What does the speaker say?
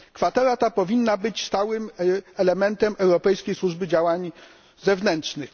Kwatera ta powinna być stałym elementem Europejskiej Służby Działań Zewnętrznych.